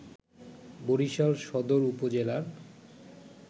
বরিশাল সদর উপজেলার